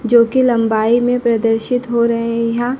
जो की लंबाई में प्रदर्शित हो रहें हैं यहां--